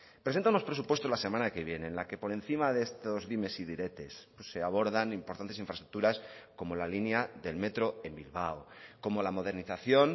presenta unos presupuestos la semana que viene en la que por encima de estos dimes y diretes se abordan importantes infraestructuras como la línea del metro en bilbao como la modernización